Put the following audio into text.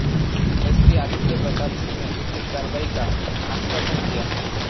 SP Aditya Pratapsingh ने उचित कार्रवाई का आश्वासन दिया